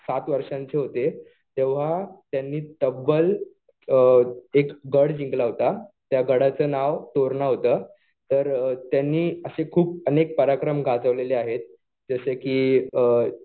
सात वर्षांचे होते तेव्हा त्यांनी तब्ब्ल एक गड जिंकला होता. त्या गडाचं नाव तोरणा होतं. तर त्यांनी असे खूप अनेक पराक्रम गाजवलेले आहेत. जसं कि